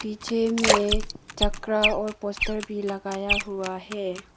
पीछे में चक्र और पोस्टर भी लगाया हुआ है।